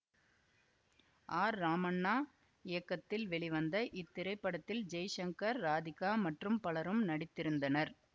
R Ramanna இயக்கத்தில் வெளிவந்த இத்திரைப்படத்தில் ஜெய்சங்கர் ராதிகா மற்றும் பலரும் நடித்திருந்தனர்